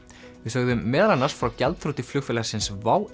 við sögðum meðal annars frá gjaldþroti flugfélagsins WOW